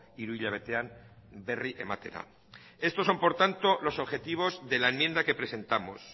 hiru hilabetean berri ematera estos son por tanto los objetivos de la enmienda que presentamos